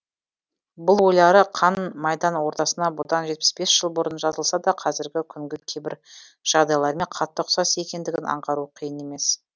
бұл ойлары қан майдан ортасына бұдан жетпіс бес жыл бұрын жазылса да қазіргі күнгі кейбір жағдайлармен қатты ұқсас екендігін аңғару қиын емес